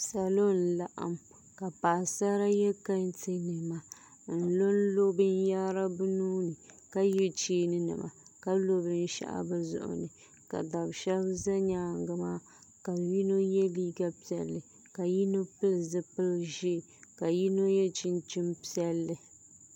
Salo n laɣam ka paɣasara yɛ kɛntɛ nima n lonlo binyahari bi nuuni ka yɛ cheeni nima ka lo binshaɣu bi zuɣu ni ka dab shab ʒɛ nyaangi maa ka yino yɛ liiga piɛlli ka yino pili zipili ʒiɛ ka yino yɛ chinchin piɛlli